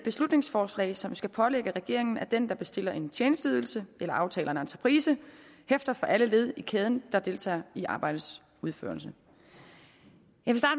beslutningsforslag som skal pålægge regeringen at den der bestiller en tjenesteydelse eller aftaler en entreprise hæfter for alle led i kæden der deltager i arbejdets udførelse jeg